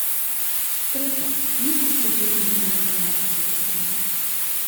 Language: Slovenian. Tretja, nismo se borili zunaj ozemlja republike Slovenije.